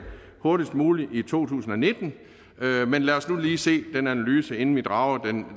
hurtigst muligt i to tusind og nitten men lad os nu lige se den analyse inden vi drager